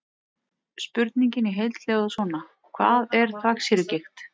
Spurningin í heild hljóðar svona: Hvað er þvagsýrugigt?